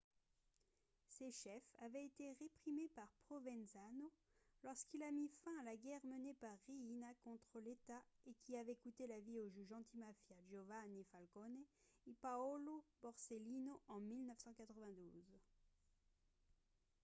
ces chefs avaient été réprimés par provenzano lorsqu'il a mis fin à la guerre menée par riina contre l'état et qui avait coûté la vie aux juges antimafia giovanni falcone et paolo borsellino en 1992